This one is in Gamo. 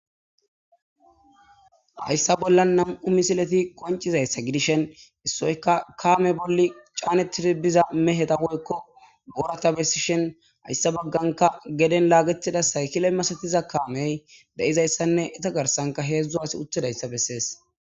hayssa bolla nam'u misileti qoncizayssa gidishen issoyka kaame bolli caanetir biza meheta woykko borata bessishen hayssa bagganka geden laagetida saykile masatiza kaamey de'izayssanne eta garsanka heedzdzu asi utidayssa bessees